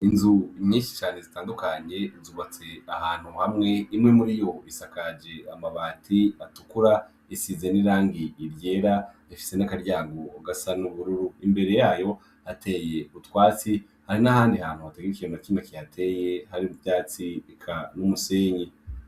Inzu nyinshi zitandukanye ,zubatse ahantu hamwe, imwe muriyo isakajwe amabati atukura ,isize n'irangi ryera ifise n'akaryango gasa n'ubururu, imbere yayo hateye utwatsi, hari n'ahandi hantu hatagira ikintu nakimwe kihateye habe n'ivyatsi eka n'umusenyi.